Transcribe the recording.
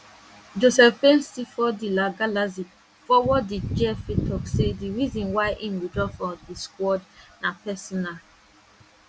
joseph painstilfor di la galaxy forward di gfa tok say di reason why im withdraw from di squad na personal